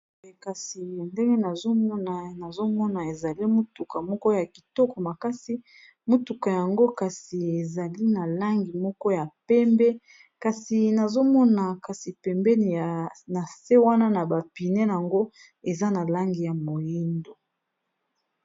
kasi ndenge nazomona ezali motuka moko ya kitoko makasi motuka yango kasi ezali na langi moko ya pembe kasi nazomona kasi pembeni na se wana na bapine yango eza na langi ya moindo